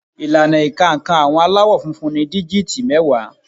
Ìlànà ìka nǹkan àwọn Aláwọ̀ funfun ni díjìtì mẹ́wàá